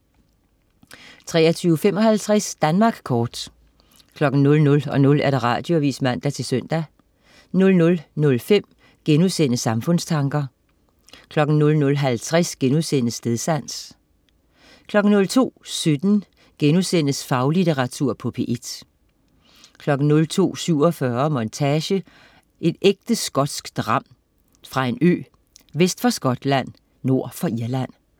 23.55 Danmark kort 00.00 Radioavis (man-søn) 00.05 Samfundstanker* 00.50 Stedsans* 02.17 Faglitteratur på P1* 02.47 Montage: En ægte skotsk dram. Fra en ø, vest for Skotland, nord for Irland